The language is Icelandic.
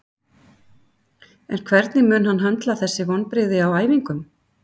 En hvernig mun hann höndla þessi vonbrigði á æfingum?